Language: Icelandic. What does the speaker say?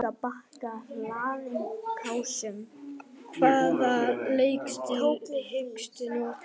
Hvaða leikstíl hyggstu nota?